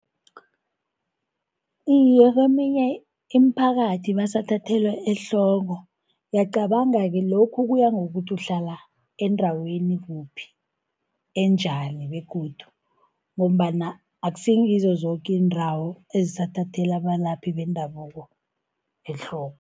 Iye, kweminye iimphakathi basathathelwa ehloko, uyacabanga-ke lokhu kuya ngokuthi uhlala endaweni kuphi, enjani begodu ngombana akusingizo zoke iindawo ezisathathela abalaphi bendabuko ehloko.